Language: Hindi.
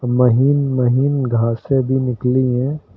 महीन महीन घासे भी निकली हैं।